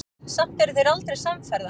Samt eru þeir aldrei samferða.